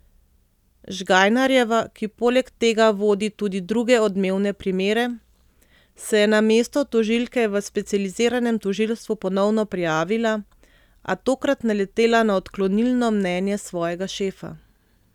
Žgajnarjeva, ki poleg tega vodi tudi druge odmevne primere, se je na mesto tožilke v specializiranem tožilstvu ponovno prijavila, a tokrat naletela na odklonilno mnenje svojega šefa.